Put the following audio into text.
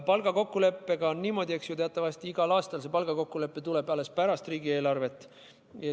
Palgakokkuleppega on niimoodi, et teatavasti tuleb see kokkulepe igal aastal alles pärast riigieelarvet.